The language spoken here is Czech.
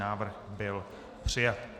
Návrh byl přijat.